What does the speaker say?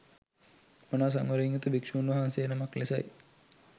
මනා සංවරයෙන් යුතු භික්ෂුන් වහන්සේ නමක් ලෙසයි